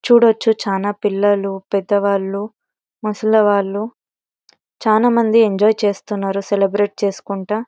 చూడొచ్చు చానా పిల్లలు పెద్దవాళ్ళు ముసలి వాళ్ళు చానా మంది ఎంజాయ్ చేస్తున్నరు సెలెబ్రేట్ చేసుకుంటా.